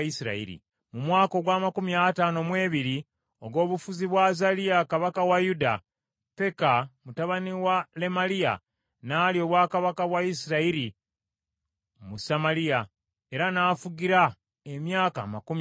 Mu mwaka ogw’amakumi ataano mu ebiri ogw’obufuzi bwa Azaliya kabaka wa Yuda, Peka mutabani wa Lemaliya n’alya obwakabaka bwa Isirayiri mu Samaliya, era n’afugira emyaka amakumi abiri.